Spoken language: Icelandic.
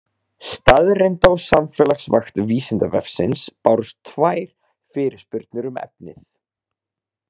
Staðreynda- og samfélagsvakt Vísindavefsins bárust tvær fyrirspurnir um efnið.